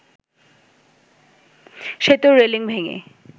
সেতুর রেলিং ভেঙে